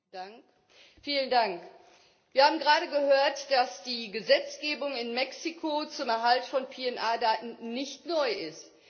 Herr Präsident! Wir haben gerade gehört, dass die Gesetzgebung in Mexiko zum Erhalt von PNR Daten nicht neu ist.